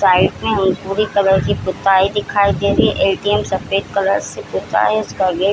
Side में colour की पुताई दिखाई दे रही है ए.टी.एम. सफ़ेद कलर से पुता है इसका गेट |